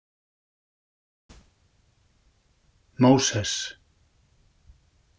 Móses